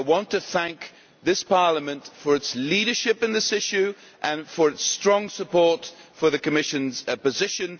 I want to thank this Parliament for its leadership in this issue and for its strong support for the Commission's position.